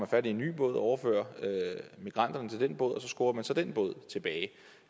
fat i en ny båd og overfører migranterne til den båd og så skubber man så den båd tilbage